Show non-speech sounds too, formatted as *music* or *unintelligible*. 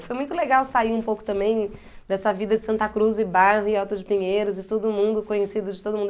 E foi muito legal sair um pouco também dessa vida de Santa Cruz e *unintelligible* e Alto de Pinheiros, e todo mundo, conhecido de todo mundo.